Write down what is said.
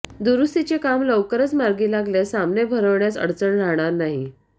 दुरुस्तीचे काम लवकरच मार्गी लागल्यास सामने भरवण्यास अडचण राहणार नाही